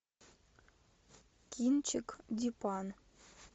кинчик дипан